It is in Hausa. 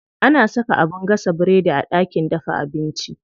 Ana saka abin gasa biredi a ɗakin dafa abinci.